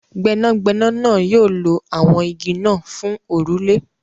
Gbẹ́nàgbẹ́nà náà yóò lọ awọn ígí́ náà fún orúlẹ̀.